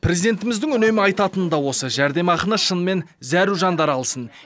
президентіміздің үнемі айтатыны да осы жәрдемақыны шынымен зәру жандар алсын